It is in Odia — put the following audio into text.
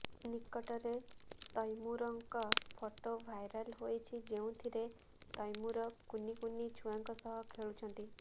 ନିକଟରେ ତୈମୁରଙ୍କ ଫଟୋ ଭାଇରାଲ ହୋଇଛି ଯେଉଁଥିରେ ତୈମୁର କୁନି କୁନି ଛୁଆଙ୍କ ସହ ଖେଳୁଛନ୍ତି